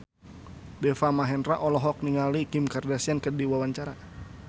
Deva Mahendra olohok ningali Kim Kardashian keur diwawancara